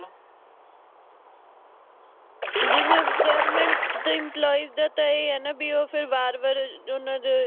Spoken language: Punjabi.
ਜਿਵੇ government ਤੇ employes ਦਾ ਤਾ ਇਹ ਆ ਨਾ ਬਈ ਓ ਫਿਰ ਬਾਰ ਬਾਰ ਅਹ ਓਹਨਾ ਦਾ